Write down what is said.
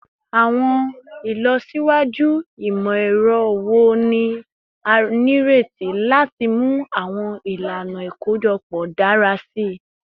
Awọn ilọsiwaju imọ-ẹrọ wo ni a nireti lati mu awọn ilana ikojọpọ dara si?